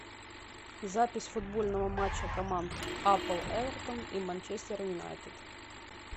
запись футбольного матча команд апл эвертон и манчестер юнайтед